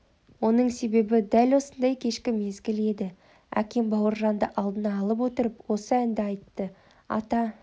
оның себебі дәл осындай кешкі мезгіл еді әкем бауыржанды алдына алып отырып осы әнді айтты ата